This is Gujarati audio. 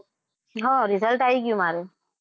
હા result આવી ગયું મારું.